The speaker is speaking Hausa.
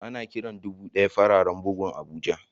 Ana Kiran dubu daya fararen bugun abuja.